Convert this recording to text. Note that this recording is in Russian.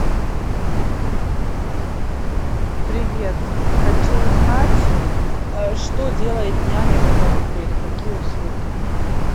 привет хочу узнать что делает няня в этом отеле какие услуги